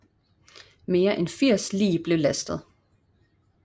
Mere end 80 lig blev lastet